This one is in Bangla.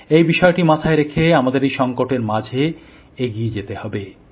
এই বিষয়টি মাথায় রেখে আমাদের এই সঙ্কটের মাঝে এগিয়ে যেতে হবে